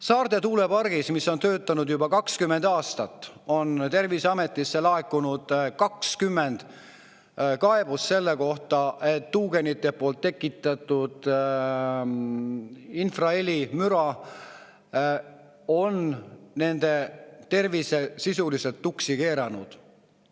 Saarde tuulepargist, mis on töötanud juba 20 aastat, on Terviseametisse laekunud 20 kaebust selle kohta, et tuugenite tekitatud infrahelimüra on tervise sisuliselt tuksi keeranud.